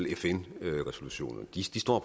fn resolutionerne